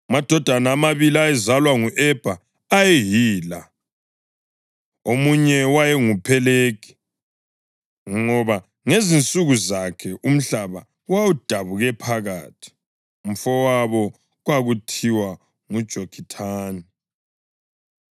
Amadodana amabili ayezalwa ngu-Ebha ayeyila: Omunye wayenguPhelegi, ngoba ngezinsuku zakhe umhlaba wawudabuke phakathi; umfowabo kwakuthiwa nguJokithani.